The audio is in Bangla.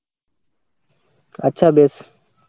আচ্ছা বেশ.